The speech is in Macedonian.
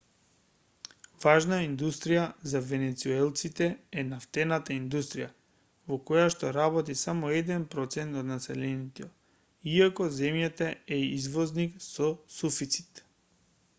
важна индустрија за венецуелците е нафтената индустрија во којашто работи само еден процент од населението иако земјата е извозник со суфицит